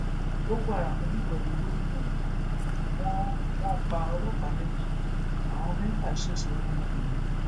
boko haram lúgọ de gómìnà yìí wọn wọn pa ọlọpàá méjì àwọn mẹfà ṣẹṣẹ yànnayànna